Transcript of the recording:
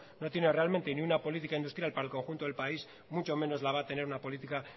no tiene realmente ni una política industrial para el conjunto del país mucho menos la va a tener una política